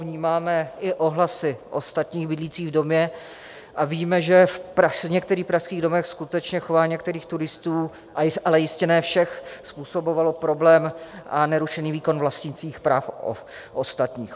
Vnímáme i ohlasy ostatních bydlících v domě a víme, že v některých pražských domech skutečně chování některých turistů, ale jistě ne všech, způsobovalo problém a nerušený výkon vlastnících práv ostatních.